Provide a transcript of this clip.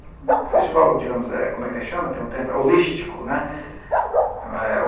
O festival, digamos, como é que chama, tem um tempo, é holístico, né. Uhum. É